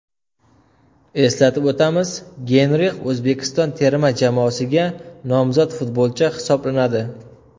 Eslatib o‘tamiz, Geynrix O‘zbekiston terma jamoasiga nomzod futbolchi hisoblanadi.